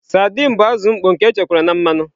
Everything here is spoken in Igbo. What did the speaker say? Sardines bụ azụ mkpọ nke echekwara na mmanụ.